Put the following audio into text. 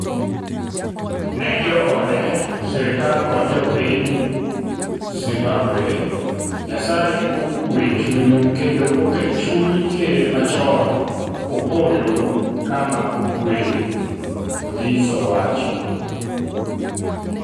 ne joode ,sirikal kod jopiny Zimbabwe, Nyasaye okwe chunyu kendo oket chuny ker machon Opollo kama okwe,"Odhis Owacho.